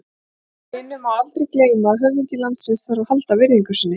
Hinu má aldrei gleyma að höfðingi landsins þarf að halda virðingu sinni.